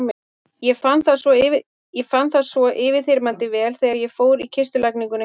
Ég fann það svo yfirþyrmandi vel þegar ég fór í kistulagninguna hjá Gunna.